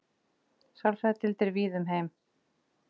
Sálfræðideildir víða um heim.